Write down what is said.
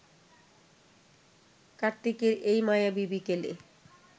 কার্তিকের এই মায়াবী বিকেলে